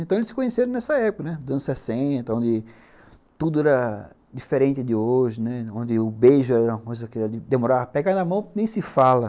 Então eles se conheceram nessa época, né, dos anos sessenta, onde tudo era diferente de hoje, né, onde o beijo era uma coisa que demorava a pegar na mão, nem se fala.